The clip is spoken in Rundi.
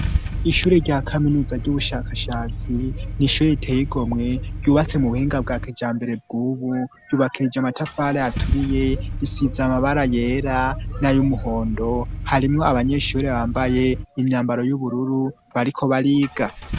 Ishure rya kaminuza ry'ubushakashatsi ni ishure iteegomwe yubatse mu buhinga bwa kija mbere bw'ubu yubakirije amatafala aturiye risiza amabara yera n'ayoumuhondo harimwo abanyeshure bambaye imyambaro y'ubururu bariko bariga.